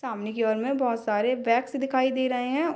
सामने की और में बहुत सारे बैग्स दिखाई दे रहें हैं।